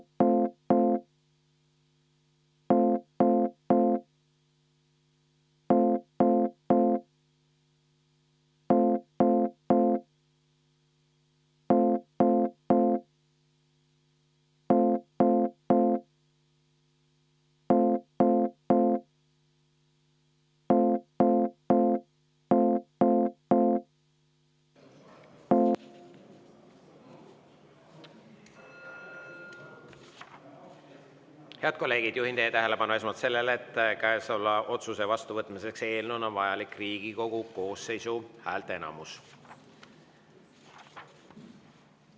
Head kolleegid, juhin teie tähelepanu esmalt sellele, et käesoleva vastuvõtmiseks on vajalik Riigikogu koosseisu häälteenamus.